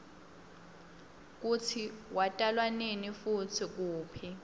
kutsi watalwanini futsi kuphi